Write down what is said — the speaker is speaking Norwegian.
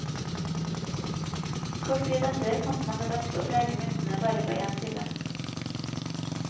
Kort tid etter fant man det best å prege myntene bare på én side.